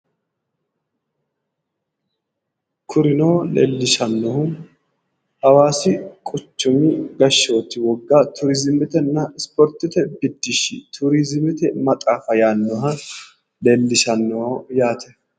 Kurino leellishshannohu hawaasi quchumi gashooti woga turiizimetenna isipoortete biddishshi turiizimete maxaafa yaannoha leellishanno yaate.